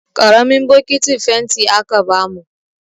Ƙaramin bokitin fenti aka bamu.